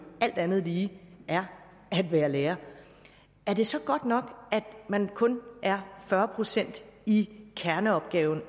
alt andet lige er at være lærer er det så godt nok at man kun er fyrre procent i kerneopgaven